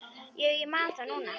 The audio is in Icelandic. Já, ég man það núna.